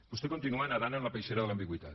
vostè continua nedant en la peixera de l’ambigüitat